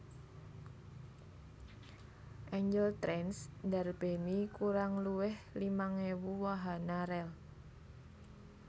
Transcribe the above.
Angel Trains ndarbèni kurang luwih limang ewu wahana rèl